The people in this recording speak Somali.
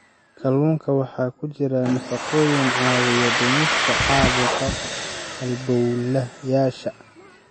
Kalluunka waxaa ku jira nafaqooyin caawiya dhimista caabuqa halbowlayaasha.